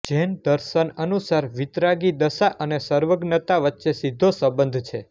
જૈન દર્શન અનુસાર વિતરાગી દશા અને સર્વજ્ઞતા વચ્ચે સીધો સંબંધ છે